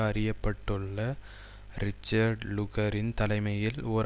அறியப்பட்டுள்ள Richard லுகரின் தலைமையில் ஓர்